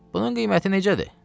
Bunun qiyməti necədir?